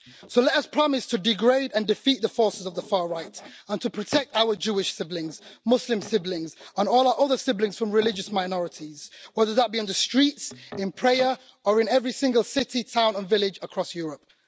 So let us promise to degrade and defeat the forces of the far right, and to protect our Jewish siblings, Muslim siblings and all our other siblings from religious minorities, whether that be on the streets, in prayer, or in every single city, town and village across Europe.